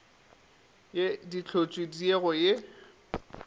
ye di hlotše tiego e